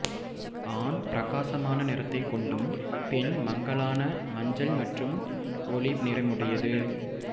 ஆண் பிரகாசமான நிறத்தைக் கொண்டும் பெண் மங்கலான மஞ்சள் மற்றும் ஒலிவ் நிறமுடையது